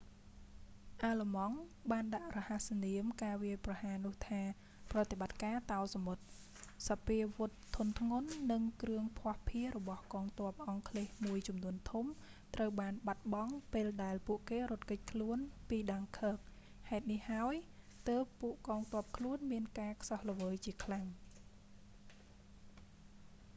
អាឡឺម៉ង់បានដាក់រហស្សនាមការវាយប្រហារនោះថា «ប្រតិបត្តិការតោសមុទ្រ»operation sealion។ សព្វាវុធធុនធ្ងន់ និងគ្រឿងភស្តុភាររបស់កងទ័ពអង់គ្លេសមួយចំនួនធំត្រូវបានបាត់បង់ពេលដែលពួកគេរត់គេចខ្លួនពីដាំងឃើគ dunkirk ហេតុនោះហើយទើបពួកកងទ័ពខ្លួនមានការខ្សោះល្វើយជាខ្លាំង។